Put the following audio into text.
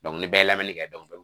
ni bɛɛ lamini kɛ